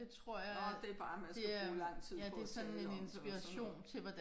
Nåh det bare at man skal bruge lang tid på at tale om det og sådan noget